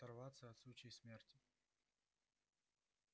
оторваться от сучьей смерти